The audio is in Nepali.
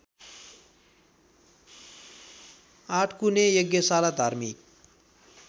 आठकुने यज्ञशाला धार्मिक